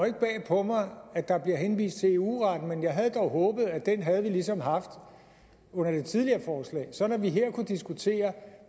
ikke bag på mig at der bliver henvist til eu retten men jeg havde dog håbet at den havde vi ligesom haft under det tidligere forslag sådan at vi her kunne diskutere